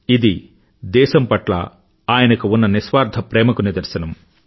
ఇది దేశం పట్ల ఆయనకు ఉన్న నిస్వార్థ ప్రేమకు నిదర్శనం